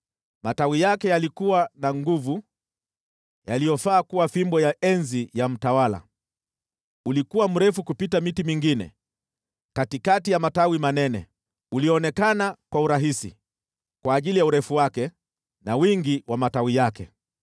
Matawi yake yalikuwa na nguvu, yaliyofaa kuwa fimbo ya enzi ya mtawala. Ulikuwa mrefu kupita miti mingine katikati ya matawi manene; ulionekana kwa urahisi kwa ajili ya urefu wake na wingi wa matawi yake.